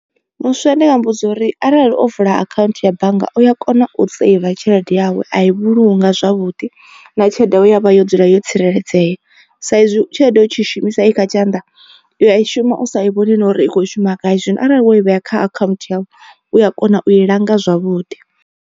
Muswa ndi nga muvhudza uri arali o vula akhaunthu ya bannga u ya kona u seiva tshelede yawe a i vhulunga zwavhuḓi na tshelede ye ya vha yo dzula yo tsireledzea. Sa izwi tshelede u tshi shumisa i kha tshanḓa u ya i shuma u sa i vhoni na uri i kho shuma gai zwino arali wo i vhea kha account yau u ya kona u i langa zwavhuḓi.